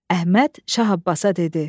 Əhməd Şah Abbasa dedi: